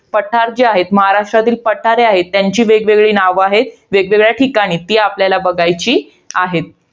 पठार जे आहेत. महाराष्ट्रातील पठारे आहेत. त्यांची वेगवेगळी नावं आहेत. वेगवेगळ्या ठिकाणी. ती आपल्याला बघायची आहेत.